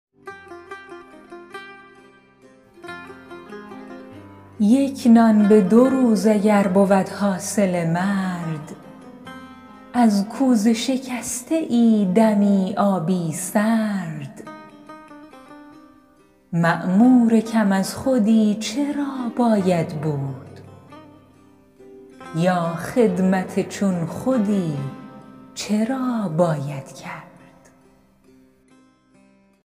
یک نان به دو روز اگر بود حاصل مرد از کوزه شکسته ای دمی آبی سرد مأمور کم از خودی چرا باید بود یا خدمت چون خودی چرا باید کرد